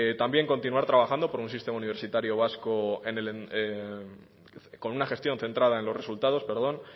también continuar trabajando por un sistema universitario vasco con una gestión centrada en los resultados